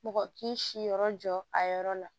Mɔgɔ k'i si yɔrɔ jɔ a yɔrɔ la